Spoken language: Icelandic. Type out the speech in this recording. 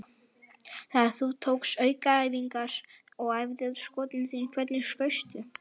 Þegar þú tókst aukaæfingar og æfðir skotin þín, hvernig skaustu?